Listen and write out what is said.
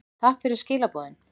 Takk fyrir skilaboðin.